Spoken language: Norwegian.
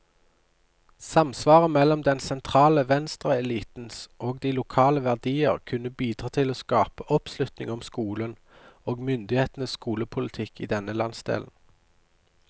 Samsvaret mellom den sentrale venstreelitens og de lokale verdier kunne bidra til å skape oppslutning om skolen, og myndighetenes skolepolitikk i denne landsdelen.